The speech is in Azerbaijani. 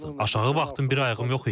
Aşağı baxdım, bir ayağım yox idi.